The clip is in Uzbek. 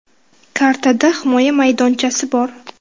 Kartada himoya maydonchasi bor.